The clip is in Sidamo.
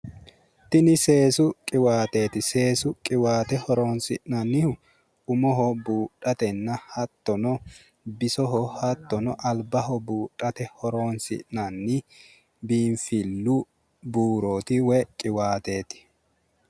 Tinni seesu qiwaateeti seesu qiwaate horoonsi'nannihu umoho buudhatenna hattono bisoho hattono albaho buudhate horoonsi'nanni biinfillu buurooti woy qiwaateeti.